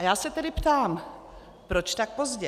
A já se tedy ptám: Proč tak pozdě?